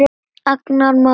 Agnar Már Jónsson